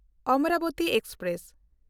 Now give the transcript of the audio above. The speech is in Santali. ᱚᱢᱚᱨᱟᱵᱚᱛᱤ ᱮᱠᱥᱯᱨᱮᱥ